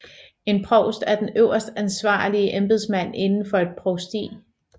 En provst er den øverste ansvarlige embedsmand inden for et provsti